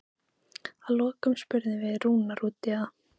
Að lokum spurðum við Rúnar út í það?